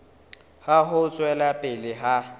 ya ho tswela pele ha